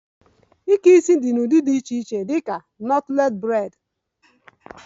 Breidi